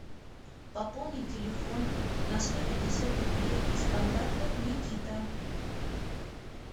пополнить телефон на сто пятьдесят рублей из контактов никита